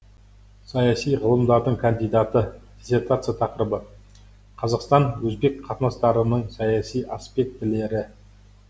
саяси ғылымдардың кандидаты диссертация тақырыбы қазақстан өзбек қатынастарының саяси аспектілері